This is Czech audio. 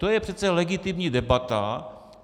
To je přece legitimní debata.